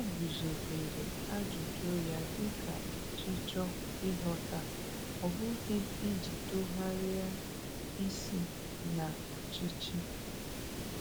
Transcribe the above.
O guzobere ajụjụ ya dị ka ọchịchọ ịghọta, ọ bụghị iji tụgharị isi na ọchịchị.